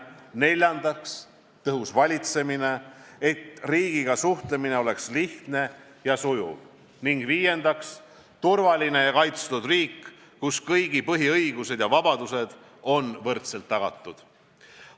Neljandaks, tõhus valitsemine, et riigiga suhtlemine oleks lihtne ja sujuv, ning viiendaks, turvaline ja kaitstud riik, kus kõigi põhiõigused ja -vabadused on võrdselt tagatud.